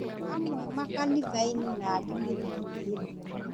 Amwe makanithai-nĩna angĩ mĩthigiti-nĩ.